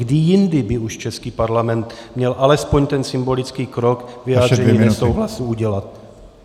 Kdy jindy by už český parlament měl alespoň ten symbolický krok vyjádřením nesouhlasu udělat?